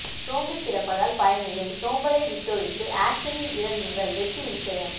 சோம்பி்க் கிடப்பதால் பயனில்லை சோம்பலை வி்ட்டொழித்து ஆக்ஷனில் இறங்குங்கள் வெற்றி நிச்சயம்